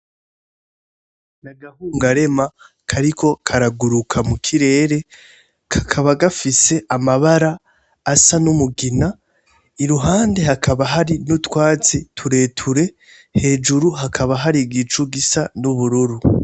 Ki agahungarema kariko karaguruka mukirere kakaba gafise amabara asa n'umugina, iruhande hakaba hari n'utwatsi tureture, hejuru hakaba hari igicu gisa n'ubururu.